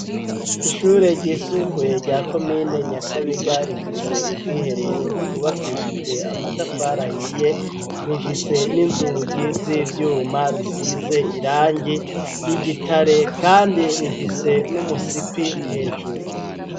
ishure ry'isumbuye rya komine nyakabiga rifise ubwiherero ryubakishijwe amatafari ahiye hiye rifise n'inzugi z'ivyuma bisize irangi ry'igitare kandi rifise n'umusipi hejuru